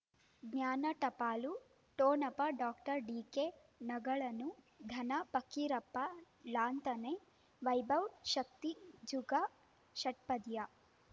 ಜ್ಞಾನ ಟಪಾಲು ಠೊಣಪ ಡಾಕ್ಟರ್ ಢಿಕೆ ಣಗಳನು ಧನ ಪಕೀರಪ್ಪ ಳಂತಾನೆ ವೈಭವ್ ಶಕ್ತಿ ಜುಗಾ ಷಟ್ಪದಿಯ